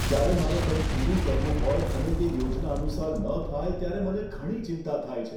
જ્યારે મારે કંઈક પૂરું કરવું હોય અને તે યોજના અનુસાર ન થાય, ત્યારે મને ઘણી ચિંતા થાય છે.